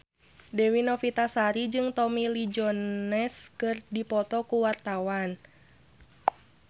Dewi Novitasari jeung Tommy Lee Jones keur dipoto ku wartawan